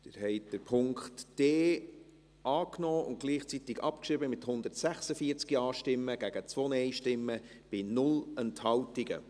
Sie haben den Punkt d angenommen und gleichzeitig abgeschrieben, mit 146 Ja- gegen 2 Nein-Stimmen bei 0 Enthaltungen.